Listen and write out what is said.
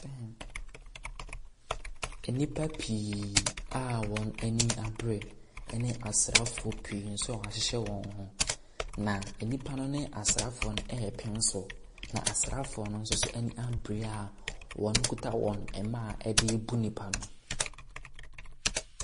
Nnipa pii a wɔn ani abere ne asraafoɔ pii nso a wɔahyehyɛ wɔn h. na nnipa no ne asraafoɔ no ɛrepem so. Na asraafoɔ no nso ani abere a wɔkita mmaa a de boro nnipa no.